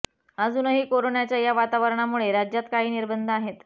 अजूनही कोरोनाच्या या वातावरणामुळे राज्यात काही निर्बंध आहेत